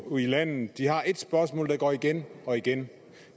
ude i landet har et spørgsmål der går igen og igen